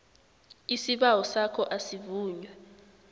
isibawo sakho asivunywa